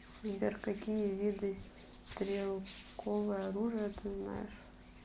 сбер какие виды стрелковое оружие ты знаешь